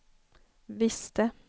visste